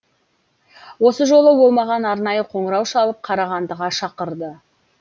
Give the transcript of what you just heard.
осы жолы ол маған арнайы қоңырау шалып қарағандыға шақырды